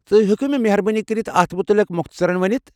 تُہۍ ہیكوٕ مےٚ مہربٲنی كٔرِتھ اتھ مُتعلق مۄختصرن ونِتھ؟